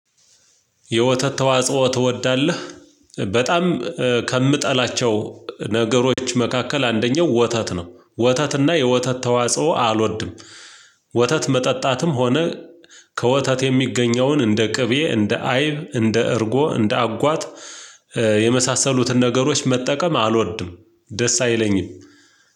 የወተት ተዋጽኦ ትወዳለህ? በጣም ከምጠላቸው ነገሮች መካከል አንደኛው ወተት ነው ወተት እና የወተት ተዋጽኦ አልወድም። ወተት መጠጣትም ሆነ። ከወተት የሚገኘውን እንደ ቅቤ እንደ አይብ እንደ እርጎ እንደ አጓት የመሳሰሉትን ነገሮች መጠቀም አልወድም። ደስ አይለኝም።